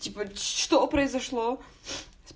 типа что произошло